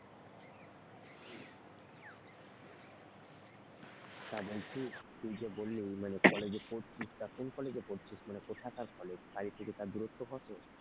তা বলছি তুই যে বললি মানে college য়ে পড়ছিস তা কোন college য়ে পড়ছিস কোথাকার college বাড়ি থেকে তার দূরত্ব কত?